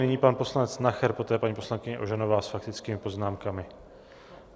Nyní pan poslanec Nacher, poté paní poslankyně Ožanová s faktickými poznámkami.